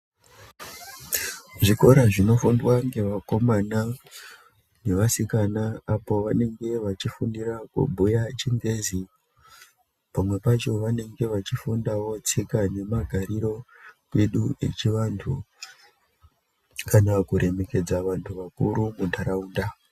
Zvikora zvinofundwa ngevakomana nevasikana apo vanenge vachifundira kubhuya ChiNgezi, pamwe pacho vanenge vachifundawo tsika nemagariro edu echivantu, kana kuremekedza vantu vakuru muntaraunda.